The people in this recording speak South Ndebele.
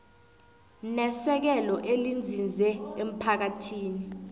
nesekelo elinzinze emphakathini